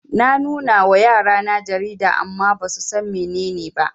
Na nunawa yarana jarida amma basusan mene ne ba